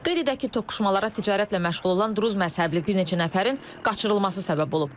Qeyd edək ki, toqquşmalara ticarətlə məşğul olan druz məzhəbli bir neçə nəfərin qaçırılması səbəb olub.